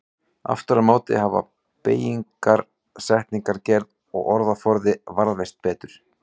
Aftur á móti hafa beygingar, setningagerð og orðaforði varðveist betur.